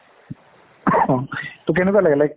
ing অ কেনেকুয়া লাগিলে? like